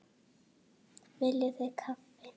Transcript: Viljið þið kaffi?